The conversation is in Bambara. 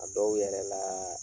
A dɔw yɛrɛ laa